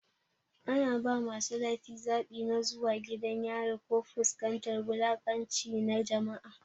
Ana ba masu laifi zaɓi na zuwa gidan yari ko fuskantar wulaƙanci na jama'a.